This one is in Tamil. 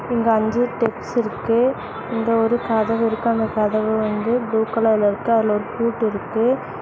இங்க அஞ்சு டெப்ஸ் இருக்கு இங்க ஒரு கதவிருக்கு அந்த கதவு வந்து ப்ளூ கலர்ல இருக்கு அதுல ஒரு பூட்டுருக்கு.